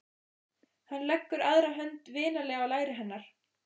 Hann leggur aðra hönd vinalega á læri hennar.